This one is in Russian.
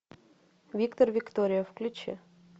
виктор виктория включи